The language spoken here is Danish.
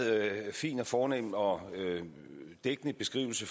fin og fornem og dækkende beskrivelse